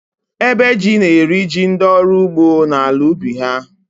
Ébè jí na-eri jí ndị ọrụ ugbo n’ala ubi ha